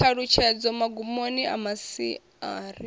ṱhalutshedzo magumoni a masia ari